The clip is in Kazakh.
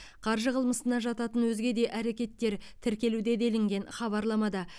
қаржы қылмысына жататын өзге де әрекеттер тіркелуде делінген хабарламада